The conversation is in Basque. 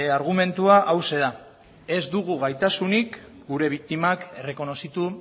argumentua hauxe da ez dugu gaitasunik gure biktimak errekonozitu